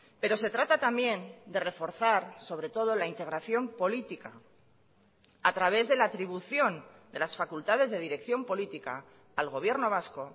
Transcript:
pero se trata también de reforzar sobre todo la integración política a través de la atribución de las facultades de dirección política al gobierno vasco